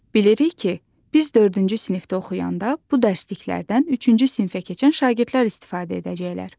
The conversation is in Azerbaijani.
Bilirik ki, biz dördüncü sinifdə oxuyanda bu dərsliklərdən üçüncü sinfə keçən şagirdlər istifadə edəcəklər.